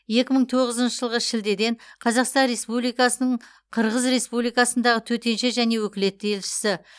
екі мың тоғызыншы жылғы шілдеден қазақстан республикасының қырғыз республикасындағы төтенше және өкілетті елшісі